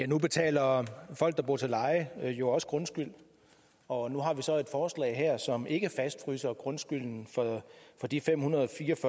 nu betaler folk der bor til leje jo også grundskyld og nu har vi så et forslag her som ikke fastfryser grundskylden for de femhundrede